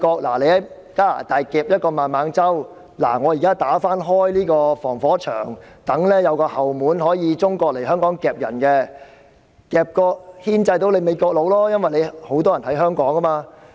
美國在加拿大捉拿了孟晚舟，現在他們便要打開一道防火牆，讓中國有後門可以來香港捉人，以牽制美國，因為香港有很多美國人。